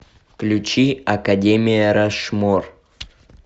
включи академия рашмор